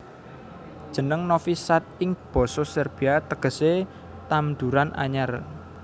Jeneng Novi Sad ing basa Serbia tegesé Tamduran Anyar